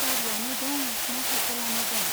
गारियानो दं ना साइकेलानो दं ?